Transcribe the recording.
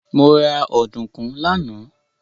Mo ra ọ̀dùnkún lánàá.